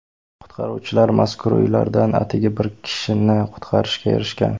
Qutqaruvchilar mazkur uylardan atigi bir kishini qutqarishga erishgan.